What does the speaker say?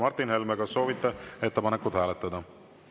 Martin Helme, kas soovite ettepanekut hääletada?